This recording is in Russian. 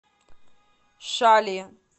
шали